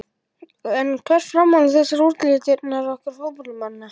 En hvert er framhald þessarar útlitsdýrkunar okkar fótboltamanna?